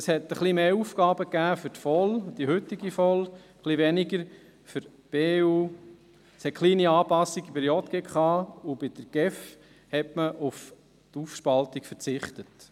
Es hat ein bisschen mehr Aufgaben für die heutige VOL und ein bisschen weniger für die BVE gegeben, es hat kleine Anpassungen bei der JGK, und bei der GEF hat man auf die Aufspaltung verzichtet.